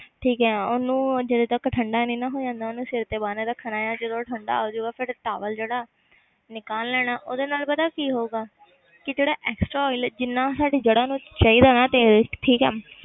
ਠੀਕ ਹੈ ਉਹਨੂੰ ਜਦੋਂ ਤੱਕ ਠੰਢਾ ਨੀ ਨਾ ਹੋ ਜਾਂਦਾ ਉਹਨੂੰ ਸਿਰ ਤੇ ਬੰਨ੍ਹ ਰੱਖਣਾ ਆਂ ਜਦੋਂ ਉਹ ਠੰਢਾ ਹੋ ਜਾਊਗਾ ਫਿਰ towel ਜਿਹੜਾ ਨਿਕਾਲ ਲੈਣਾ ਉਹਦੇ ਨਾਲ ਪਤਾ ਕੀ ਹੋਊਗਾ ਕਿ ਜਿਹੜਾ extra oil ਜਿੰਨਾ ਸਾਡੀ ਜੜ੍ਹਾਂ ਨੂੰ ਚਾਹੀਦਾ ਨਾ ਤੇਲ ਠੀਕ ਹੈ